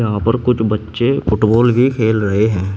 यहां पर कुछ बच्चे फुटबॉल भी खेल रहे हैं।